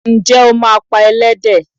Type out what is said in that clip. Ǹjẹ́ o máa pa Ẹlẹ́dẹ̀